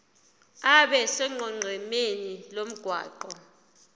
abe sonqenqemeni lomgwaqo